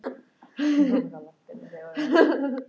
Hún verður eitthvað svo líkamleg þegar hún talar.